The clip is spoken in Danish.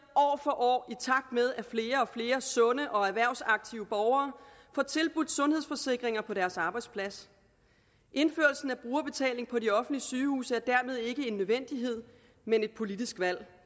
år i takt med at flere og flere sunde og erhvervsaktive borgere får tilbudt sundhedsforsikringer på deres arbejdsplads indførelsen af brugerbetaling på de offentlige sygehuse er dermed ikke en nødvendighed men et politisk valg